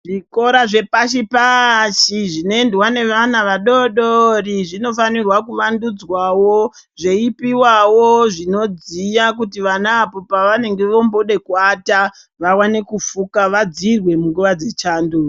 Zvikora zvepashi-paashi zvinoendwa nevana vadodori zvinofanirwa kuvvandudzwawo, zveipiwawo zvinodziya kuti vana apo pavanenge vombooda kuwata vawane kufuka, vadziirwe munguva dzechando.